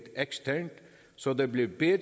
eksternt så der bliver bedre